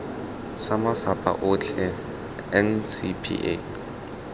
sa mafapha otlhe mo ncpa